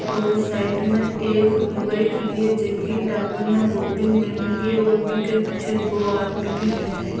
और साइड में एक लुगाई खड़ी हैजकी टाबर ने गोदी में ले मेळी है बीके पीछे दो आदमी भी खड़ा है।